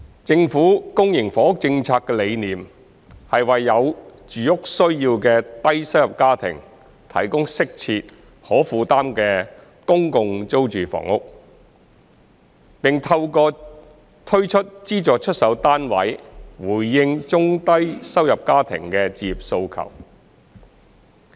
政府公營房屋政策的理念，是為有住屋需要的低收入家庭提供適切、可負擔的公共租住房屋，並透過推出資助出售單位回應中低收入家庭的置業訴求。